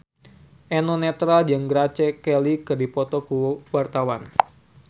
Eno Netral jeung Grace Kelly keur dipoto ku wartawan